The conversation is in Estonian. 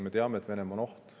Me teame, et Venemaa on oht.